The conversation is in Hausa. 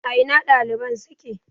A ina ɗaliban suke?